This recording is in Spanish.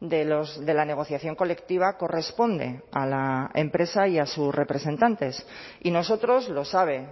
de la negociación colectiva corresponde a la empresa y a sus representantes y nosotros lo saben